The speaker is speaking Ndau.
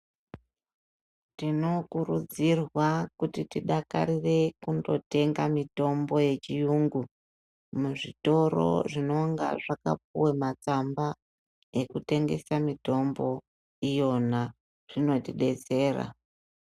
Tinokurudzirwa kuti tidakarire kundo tenga mitombo yechiyungu muzvitoro zvinonga zvakapuwe matsamba ekutengesa mitombo iyona zvinotibetsera.